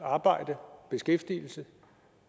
arbejde beskæftigelse